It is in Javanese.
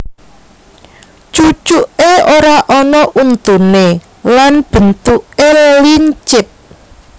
Cucuké ora ana untuné lan bentuké lincip